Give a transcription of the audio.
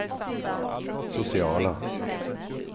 sociala